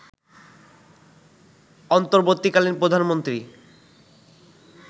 অন্তর্বর্তীকালীন প্রধানমন্ত্রী